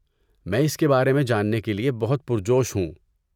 میں اس کے بارے میں جاننے کے لیے بہت پرجوش ہوں۔